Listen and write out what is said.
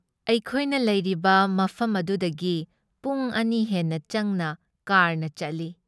ꯑꯩꯈꯣꯏꯅ ꯂꯩꯔꯤꯕ ꯃꯐꯝ ꯑꯗꯨꯗꯒꯤ ꯄꯨꯡ ꯑꯅꯤ ꯍꯦꯟꯅ ꯆꯪꯅ ꯀꯥꯔꯅ ꯆꯠꯂꯤ ꯫